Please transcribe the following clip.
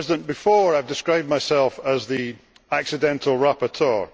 Before, I have described myself as the accidental rapporteur.